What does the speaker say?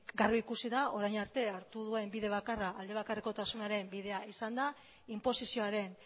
garbi ikusi da orain arte hartu duen bide bakarra alde bakarrekotasunaren bidea izan da inposizioaren